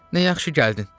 Nə yaxşı gəldin.